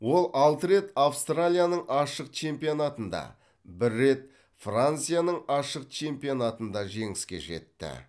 ол алты рет австралияның ашық чемпионатында бір рет францияның ашық чемпионатында жеңіске жетті